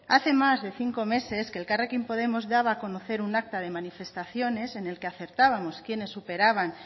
hace más de cinco meses que elkarrekin podemos daba a conocer un acta de manifestaciones en el que acertábamos quienes superaban